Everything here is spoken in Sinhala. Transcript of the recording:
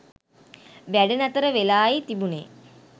වැඩ නතර වෙලායි තිබුණේ.